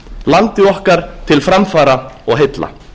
landi okkar til framfara og heilla